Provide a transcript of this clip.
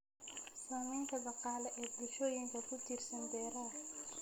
Saamaynta dhaqaale ee bulshooyinka ku tiirsan beeraha.